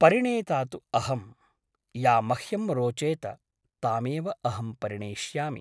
परिणेता तु अहम् । या मह्यं रोचेत तामेव अहं परिणेष्यामि ।